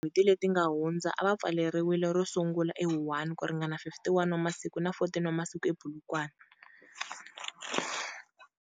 Eka tin'hweti leti nga hundza, a va pfaleriwile, ro sungula eWuhan ku ringana 51 wa masiku na 14 wa masiku ePolokwane.